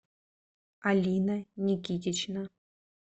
алина никитична